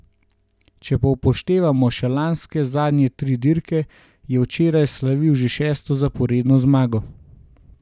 Če pa upoštevamo še lanske zadnje tri dirke, je včeraj slavil že šesto zaporedno zmago.